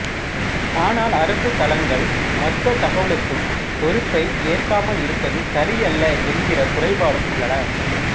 ஆனால் அரசு தளங்கள் மொத்தத் தகவல்களுக்கும் பொறுப்பை ஏற்காமல் இருப்பது சரியல்ல என்கிற குறைபாடும் உள்ளன